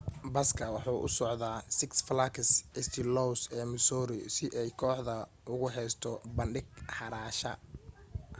baska waxa uu usocde six flags st louis ee missouri si ay kooxda ugu heesto bandhig xaraasha